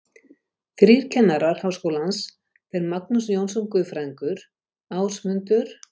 Þrír kennarar Háskólans, þeir Magnús Jónsson guðfræðingur, Ásmundur